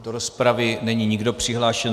Do rozpravy není nikdo přihlášen.